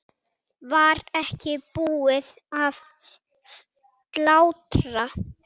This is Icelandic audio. Var ekki búið að slátra?